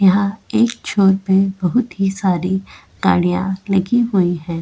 यहाँ एक छोर पर बहुत ही सारी गाड़ियां लगी हुई है।